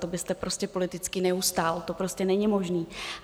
To byste prostě politicky neustál, to prostě není možné.